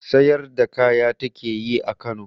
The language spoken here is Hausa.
Sayar da kaya ta ke yi a Kano.